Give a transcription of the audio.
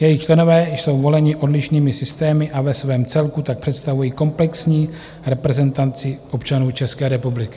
Jejich členové jsou voleni odlišnými systémy a ve svém celku tak představují komplexní reprezentaci občanů České republiky.